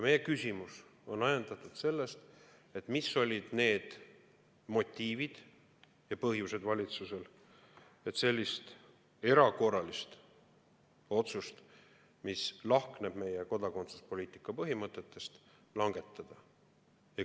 Meie küsimus on ajendatud sellest, mis olid valitsuse motiivid ja põhjused, et selline erakorraline otsus, mis lahkneb meie kodakondsuspoliitika põhimõtetest, langetada.